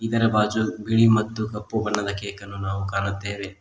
ಇದರ ಬಾಜು ಬಿಳಿ ಮತ್ತು ಕಪ್ಪು ಬಣ್ಣದ ಕೆಕ್ಕನ್ನು ನಾವು ಕಾಣುತ್ತೇವೆ.